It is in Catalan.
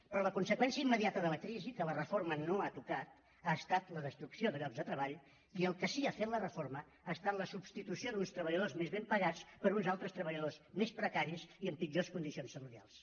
però la conseqüència immediata de la crisi que la reforma no ha tocat ha estat la destrucció de llocs de treball i el que sí ha fet la reforma ha estat la substitució d’uns treballadors més ben pagats per uns altres treballadors més precaris i amb pitjors condicions salarials